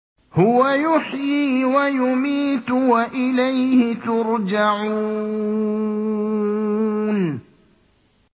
هُوَ يُحْيِي وَيُمِيتُ وَإِلَيْهِ تُرْجَعُونَ